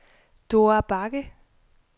Dora Bagge